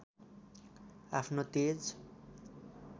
अफ्नो तेज